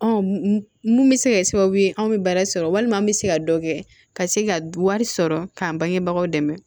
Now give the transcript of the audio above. mun bɛ se ka kɛ sababu ye anw bɛ baara sɔrɔ walima an bɛ se ka dɔ kɛ ka se ka wari sɔrɔ k'an bangebagaw dɛmɛ